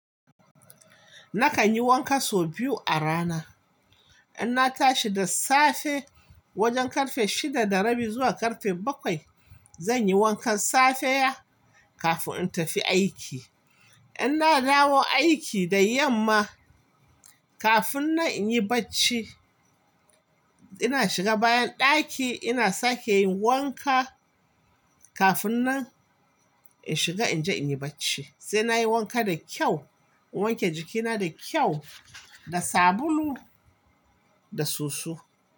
Nakan yi wanka sau biyu a rana. In na tashi da safe wajen ƙarfe shida da rabi zuwa ƙarfe bakwai, zan yi wankan safiya kafin in tafi aiki. In na dawo aiki da yamma, kafin nan yi bacci, ina shiga bayan ɗaki ina sake yin wanka kafin nan shiga in je in yi bacci. Sai nayi wanka da kyau, in wanke jikina da kyau, da sabulu da soso.